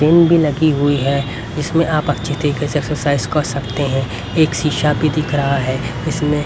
pin भी लगी हुई है जिसमें आप अच्छी तरीके से एक्सरसाइज कर सकते हैं एक शीशा भी दिख रहा है इसमें--